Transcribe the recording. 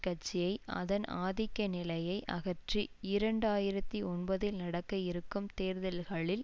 கட்சியை அதன் ஆதிக்க நிலையை அகற்றி இரண்டு ஆயிரத்தி ஒன்பதில் நடக்க இருக்கும் தேர்தல்களில்